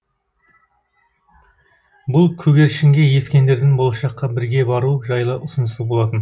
бұл көгершінге ескендірдің болашаққа бірге бару жайлы ұсынысы болатын